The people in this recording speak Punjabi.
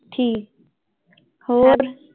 ਠੀਕ ਹੋਰ।